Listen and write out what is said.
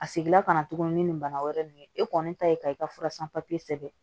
A seginna ka na tuguni ni nin bana wɛrɛ nin ye e kɔni ta ye ka i ka fura san papiye sɛbɛn